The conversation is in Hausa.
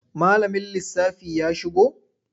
Malamin lissafi ya shigo?